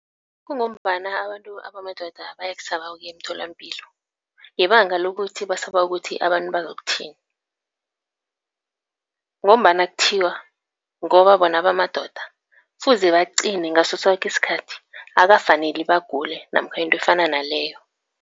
Kungombana abantu abamadoda bayakusaba ukuya emtholampilo, ngebanga lokuthi basaba ukuthi abantu bazokuthini. Ngombana kuthiwa ngoba bona bamadoda, kufuze baqine ngasosoke isikhathi, akukafaneli bagule namkha into efana naleyo.